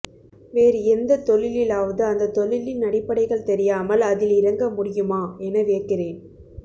வேறு எந்தத் தொழிலிலாவது அந்தத்தொழிலின் அடிப்படைகள் தெரியாமல் அதில் இறங்கமுடியுமா என வியக்கிறேன்